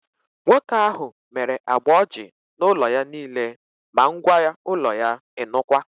Nwoke ahụ mere agba ọjị na ụlọ ya niile, ma ngwa ụlọ ya, ịnụkwa!